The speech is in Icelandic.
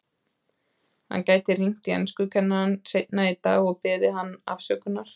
Hann gæti hringt í enskukennarann seinna í dag og beðið hann afsökunar.